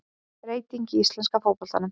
Breytingar í íslenska fótboltanum